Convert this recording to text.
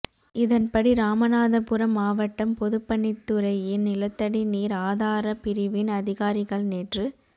இதன்படி ராமநாதபுரம் மாவட்ட பொதுப்பணித்துறையின் நிலத்தடி நீர் ஆதார பிரிவின் அதிகாரிகள் நேற்று